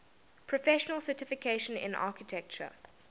professional certification in architecture